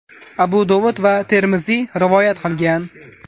Abu Dovud va Termiziy rivoyat qilgan.